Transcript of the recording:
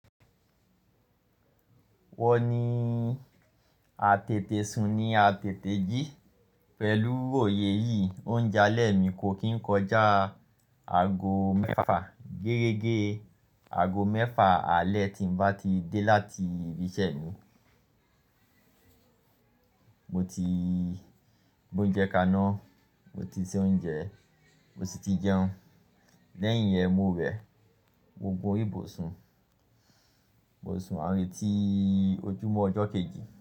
Wọ́n ni àtètè sún ni àtètè jí. Pẹ̀lú òye yìí, oúnjẹ alẹ́ mi kò kí ń kọjá aago mẹ́fà. Gẹ́regẹ́ aago mẹ́fà alẹ́ tí ń bá ti dé láti ibi iṣẹ́ mi, mo ti bóúnjẹ kaná, mo ti se oúnjẹ, mo sì ti jẹun. Lẹ́yìn yẹn, mo wẹ, mo gun or'ibùsùn, mo sùn àárẹ tí ojúmọ́ ọjọ́ kejì.